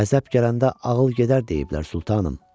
Qəzəb gələndə ağıl gedər deyiblər, Sultanım.